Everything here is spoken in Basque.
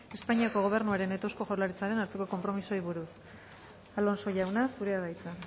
espainiako gobernuaren eta eusko jaurlaritzaren arteko konpromisoei buruz alonso jauna zurea da hitza